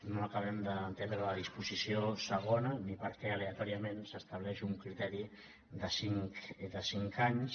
no acabem d’entendre la disposició segona ni per què aleatòriament s’estableix un criteri de cinc anys